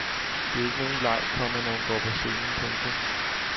Det er ikke nogen leg, komma når hun går på scenen. punktum